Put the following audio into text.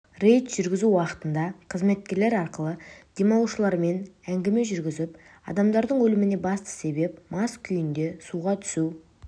рейд жүргізу уақытында қызметкерлер арқылы демалушылармен әңгіме жүргізіліп адамдардың өліміне басты себеп мас күйінде суға түсу